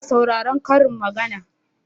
Ina sauraron karin maganar